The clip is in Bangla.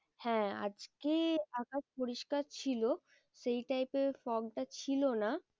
হ্যাঁ আজকে আকাশ পরিষ্কার ছিল। সেই type এর fog টা ছিল না।